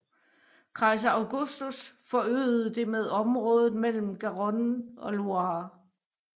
Kejser Augustus forøgede det med området mellem Garonne og Loire